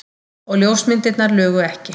Og ljósmyndirnar lugu ekki.